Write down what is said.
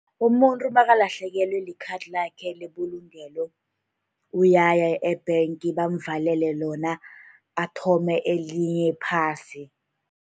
Umuntu nakalahlekelwe likhadi lakhe lebulungelo, uyaya e-bank bamvalele lona, athome elinye phasi.